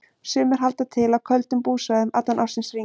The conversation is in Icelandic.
Sumir halda til á köldum búsvæðum allan ársins hring.